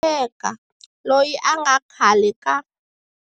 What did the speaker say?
Ngaleka, loyi a nga khale ka.